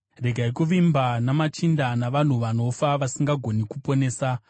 Regai kuvimba namachinda, navanhu vanofa, vasingagoni kuponesa.